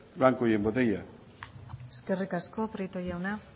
blanco y en botella eskerrik asko prieto jauna